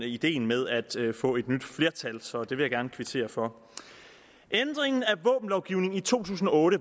ideen med at få et nyt flertal så det vil jeg gerne kvittere for ændringen af våbenlovgivningen i to tusind og otte